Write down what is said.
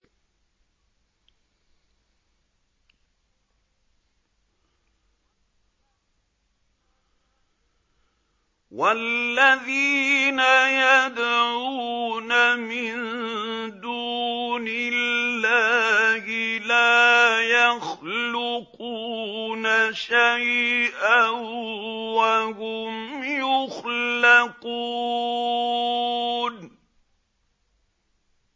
وَالَّذِينَ يَدْعُونَ مِن دُونِ اللَّهِ لَا يَخْلُقُونَ شَيْئًا وَهُمْ يُخْلَقُونَ